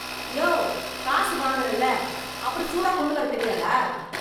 யோவ், காசு வாங்குறல, அப்புறம் சூடா கொண்டு வர தெரியாதா?